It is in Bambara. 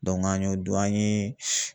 an y'o dun an ye